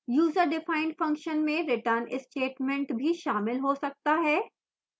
userdefined function में return statement भी शामिल हो सकता है